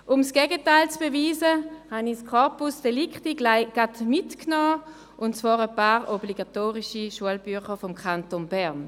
Um das Gegenteil zu beweisen, habe ich das Corpus Delicti gleich mitgebracht, nämlich ein paar obligatorische Schulbücher des Kantons Bern.